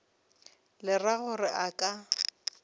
le ra gore a ka